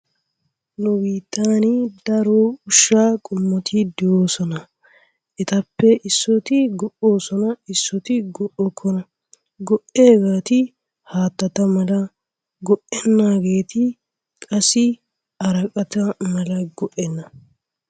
Nu biittan daro ushshaa qoommoti de"oosona. Etuppe issoti go"oosona. Isooti go"okona. Go"iyaageti haattata mala go"enaageti qassi araqqeti malay go"eenna.